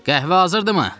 Qəhvə hazırdımı?